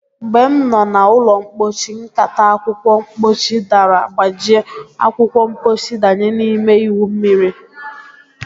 Mgbe m no na ulo mpochi, nkata akwukwo mpochi dara gbajie, akwukwo mpochi danye na-ime iwu mmiri